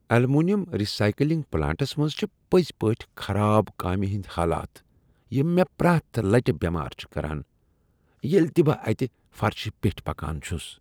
Aluminium recycling plants منٛز چھ پٔزۍ پٲٹھۍ خراب کامہ ہٕنٛدۍ حالات یم مےٚ پرٛیتھ لٹہ بیمار چھ کران ییٚلہ تہٕ بہٕ اتہ فرشہٕ پیٚٹھۍ پکان چھس۔